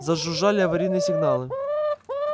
зажужжали аварийные сигналы